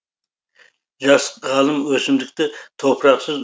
жас ғалым өсімдікті топырақсыз